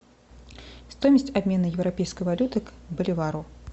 стоимость обмена европейской валюты к боливару